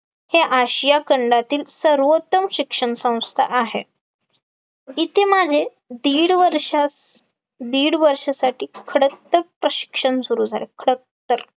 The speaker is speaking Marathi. हे आशिया खंडातील सर्वोत्तम शिक्षण संस्था आहे, इथे माझे दीड वर्षास दीड वर्षासाठी खडकतर प्रशिक्षण सुरू झाले, खडकतर